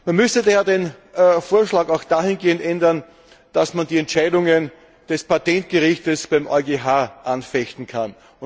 Man müsste den Vorschlag auch dahingehend ändern, dass man die Entscheidungen des Patentgerichts beim EuGH anfechten kann.